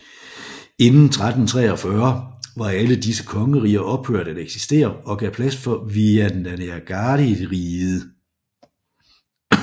Inden 1343 var alle disse kongeriger ophørt at eksistere og gav plads for Vijayanagarariget